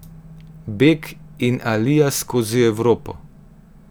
Beg in alija skozi Evropo.